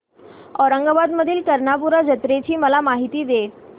औरंगाबाद मधील कर्णपूरा जत्रेची मला माहिती दे